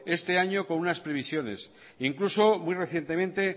este año con unas previsiones e incluso muy recientemente